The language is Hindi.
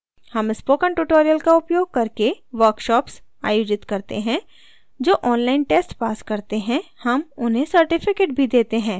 हम spoken tutorial का उपयोग करके workshops कार्यशालाएँ आयोजित करते हैं जो online test pass करते हैं हम उन्हें certificates भी देते हैं